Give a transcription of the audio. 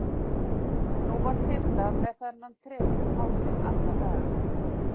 Nú var Tilda með þennan trefil um hálsinn alla daga.